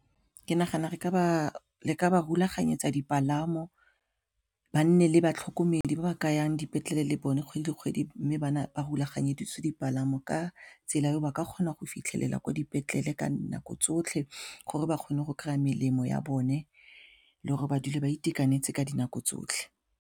Ke nagana re ka ba rulaganyetsa dipalamo ba nne le batlhokomedi ba ba ka yang dipetlele le bone kgwedi le kgwedi mme ba rulaganye feditse dipalamo mo ka tsela e ba ka kgona go fitlhelela kwa dipetlele ka nako tsotlhe gore ba kgone go kry-a melemo ya bone le gore ba dule ba itekanetse ka dinako tsotlhe.